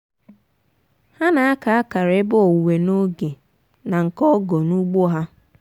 ha na-aka akara ebe owuwe n'oge na nke ọgọ n'ugbo ha.